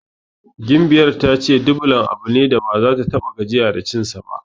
Gimbiyar ta yi ce Dublan abu ne da baza ta ta6a gajiya da cinsa ba.